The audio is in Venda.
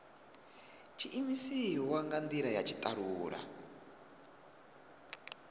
tshiimiswa nga ndila ya tshitalula